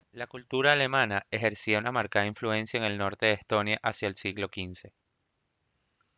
la cultura alemana ejercía una marcada influencia en el norte de estonia hacia el siglo xv